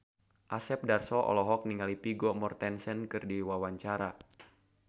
Asep Darso olohok ningali Vigo Mortensen keur diwawancara